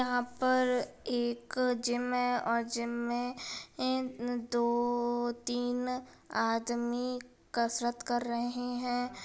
यहाँ पर एक जिम हैं और जिम में दो - तीन आदमी कसरत कर रहे हैं।